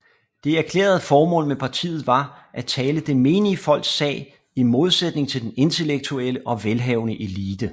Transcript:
Det erklærede formål med partiet var at tale det menige folks sag i modsætning til den intellektuelle og velhavende elite